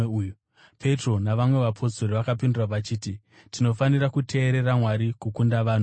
Petro navamwe vapostori vakapindura vachiti, “Tinofanira kuteerera Mwari kukunda vanhu!